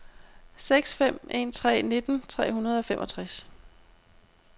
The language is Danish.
seks fem en tre nitten tre hundrede og femogtres